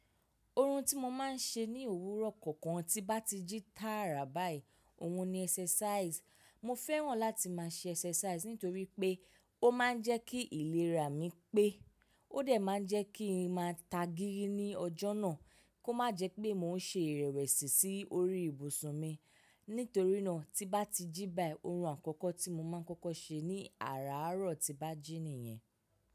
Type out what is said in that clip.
Ohun tí mo máa ń ṣe ní òwúrọ̀ kọ̀ọ̀kan tí bá ti jí tààrà báyìí, òhun ni exercise. Mo fẹ́ràn láti máa ṣe exercise nítorí pé ó máa ń jẹ́ kí ìlera mi pé ó dẹ̀ máa ń jẹ́ kí n máa tagírí ní ọjọ́ náà kó má jẹ́ pé mò ń ṣe ìrẹ̀wẹ̀sì sí orí ibùsùn mi. Nítorí náà tí bá ti jí báyìí, ohun àkọ́kọ́ tí mo máa ń kọ́kọ́ ṣe ní àràárọ̀ tí bá jí nìyẹn.